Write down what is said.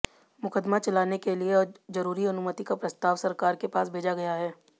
मुकदमा चलाने के लिए जरूरी अनुमति का प्रस्ताव सरकार के पास भेजा गया है